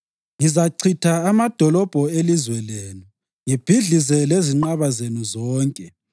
Ngizachitha amadolobho elizwe lenu ngibhidlize lezinqaba zenu zonke.